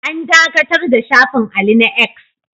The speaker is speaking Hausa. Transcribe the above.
An dakatar da shafin Ali na 'X'